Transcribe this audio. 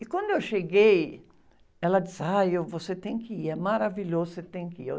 E quando eu cheguei, ela disse, ai, eu, você tem que ir, é maravilhoso, você tem que ir. E eu...